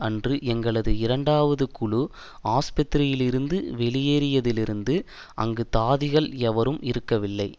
அன்று எங்களது இரண்டாவது குழு ஆஸ்பத்திரியிலிருந்து வெளியேறியதிலிருந்து அங்கு தாதிகள் எவரும் இருக்கவில்லை